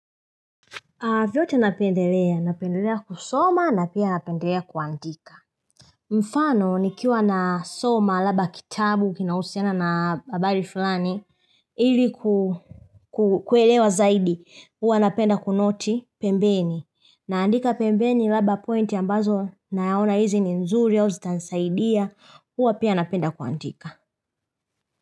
Vyote napendelea, napendelea kusoma na pia napendelea kuandika. Mfano nikiwa nasoma labda kitabu kinahisiana na habari fulani. Ili kuelewa zaidi, huwa napenda kunoti pembeni. Naandika pembeni labda pointi ambazo naona hizi ni nzuri au zitansaidia, huwa pia napenda kuandika.